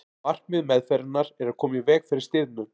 markmið meðferðarinnar er að koma í veg fyrir stirðnun